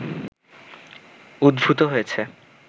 উদ্ভূত হয়েছে